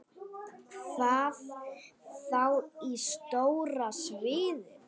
Hvað þá á stóra sviðinu?